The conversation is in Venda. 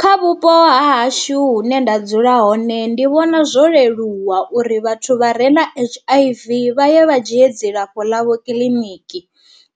Kha vhupo ha hashu hune nda dzula hone ndi vhona zwo leluwa uri vhathu vha re na H_I_V vha ye vha dzhie dzilafho ḽa vho kiḽiniki,